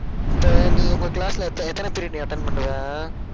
இப்ப, நீங்க உங்க class ல எத்~ எத்தன period நீ attend பண்ணுவ